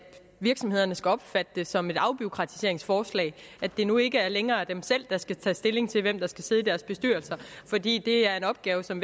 virksomhederne skal opfatte det som et afbureaukratiseringsforslag at det nu ikke længere er dem selv der skal tage stilling til hvem der skal sidde i deres bestyrelser fordi det er en opgave som